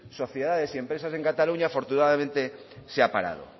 sociedades y empresas en cataluña afortunadamente se ha parado